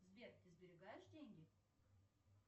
сбер ты сберегаешь деньги